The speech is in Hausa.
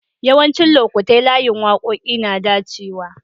Yawancin lokatai layin wakoki na dacewa.